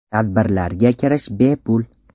Tadbirlarga kirish bepul.